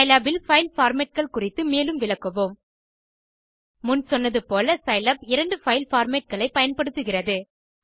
Scilab இல் file formatகள் குறித்து மேலும் விளக்குவோம் முன் சொன்னது போல சிலாப் இரண்டு பைல் formatகளை பயன்படுத்துகிறது